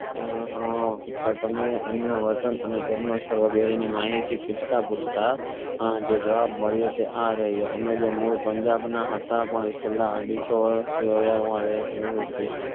તમે એમના વતન અને જન્મ સ્તડ વગરે ની માહિતી પૂછતાં પૂછતાં આજે જવાબ મળ્યો તે આ રહ્યા અમે જે મૂડ પંજાબ ના હતા પણ છેલ્લા અઢીસો વરસ થી